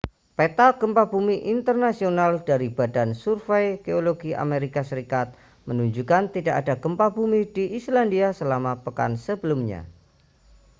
peta gempa bumi internasional dari badan survei geologi amerika serikat menunjukkan tidak ada gempa bumi di islandia selama pekan sebelumnya